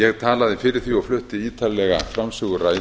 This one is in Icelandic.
ég talaði fyrir því og flutti ítarlega framsöguræðu